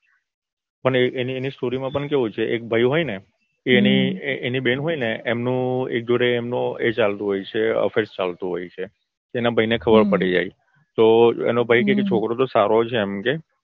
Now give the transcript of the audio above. પણ એની story માં એવું છે ને ભઈ હોય ને એ એની બેન હોય ને એમનું એન જોડે એ ચાલતું હોય છે affair ચાલતું હોય છે એના ભઈને ખબર પડી જાય છે તો એનો ભઈ કે છોકરો તો સારો છે એમ કે